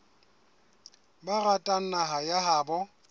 ba ratang naha ya habo